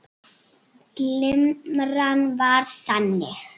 Limran var þannig